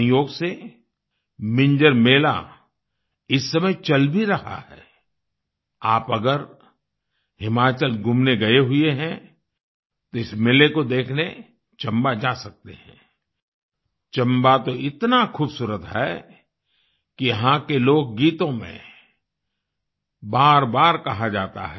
संयोग से मिंजर मेला इस समय चल भी रहा है आई आप अगर हिमाचल घूमने गए हुए हैं तो इस मेले को देखने चंबा जा सकते हैं आई चंबा तो इतना ख़ूबसूरत है कि यहाँ के लोकगीतों में बारबार कहा जाता है